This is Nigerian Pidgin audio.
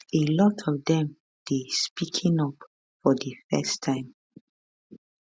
a lot of dem dey speaking up for di first time